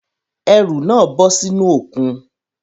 Ẹrù náà bọ́ sínú òkun